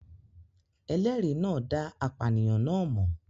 Ẹlẹ́rìí náà dá apànìyàn náà mọ̀